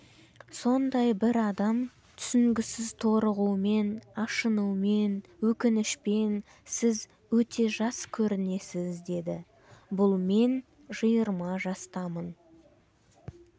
сондай бір адам түсінгісіз торығумен ашынумен өкінішпен сіз өте жас көрінесіз деді бұл мен жиырма жастамын